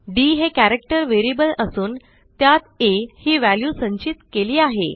D हे character variable असून त्यात आ ही व्हॅल्यू संचित केली आहे